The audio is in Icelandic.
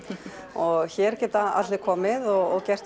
og hér geta allir komið og gert